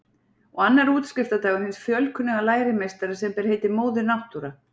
Og annar útskriftardagur hins fjölkunnuga lærimeistara sem ber heitið Móðir Náttúra.